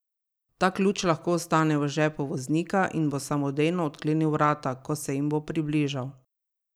Ta ključ lahko ostane v žepu voznika in bo samodejno odklenil vrata, ko se jim bo približal.